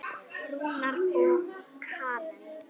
Rúnar og Karen.